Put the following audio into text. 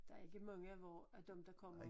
Der ikke mange af vor af dem der kommer